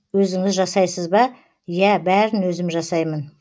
өзіңіз жасайсыз ба иә бәрін өзім жасаймын